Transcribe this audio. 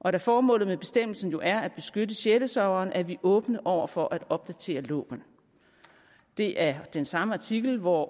og da formålet med bestemmelsen jo er at beskytte sjælesørgeren er vi åbne over for at opdatere loven det er i den samme artikel hvor